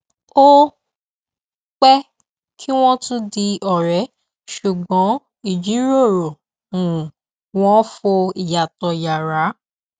ó pé kí wón tún di òré ṣùgbọn ìjíròrò um wọn fọ ìyàtọ yára